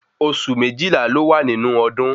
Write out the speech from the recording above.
Osù méjìlá ló wà nínú ọdún